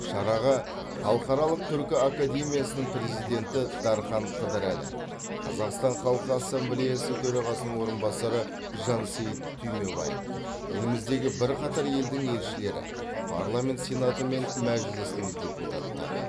шараға халықаралық түркі академиясының президенті дархан қыдырәлі қазақстан халқы ассамблеясы төрағасының орынбасары жансейіт түймебаев еліміздегі бірқатар елдің елшілері парламент сенаты мен мәжілісінің депуттары